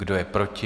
Kdo je proti?